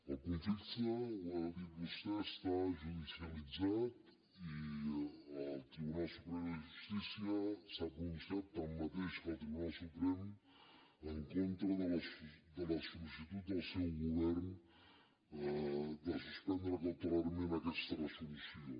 el conflicte ho ha dit vostè està judicialitzat i el tribunal superior de justícia s’ha pronunciat igual que el tribunal suprem en contra de la sol·licitud del seu govern de suspendre cautelarment aquesta resolució